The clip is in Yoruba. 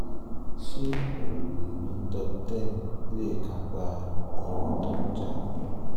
ṣé oògùn mintop ten lè kápá irun tó ń já?